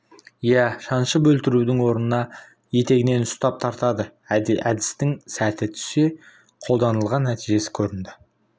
ия шаншып өлтірудің орнына етегінен ұстап тартады әдістің сәті түсе қолданылған нәтижесі көрінді